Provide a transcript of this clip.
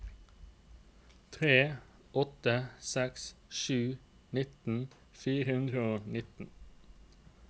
tre åtte seks sju nitten fire hundre og nitten